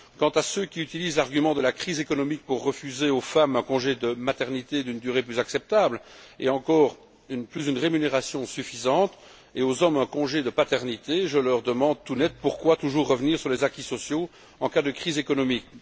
Quant à ceux qui utilisent l'argument de la crise économique pour refuser aux femmes un congé de maternité d'une durée plus acceptable et plus encore une rémunération suffisante, et aux hommes un congé de paternité, je leur demande tout net, pourquoi toujours revenir sur les acquis sociaux en cas de crise économique?